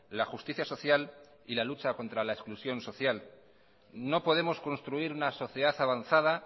la justicia social y la lucha contra le exclusión social no podemos construir una sociedad avanzada